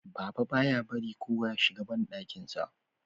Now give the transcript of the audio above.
Baba ba ya barin kowa Ya shiga banɗakin sa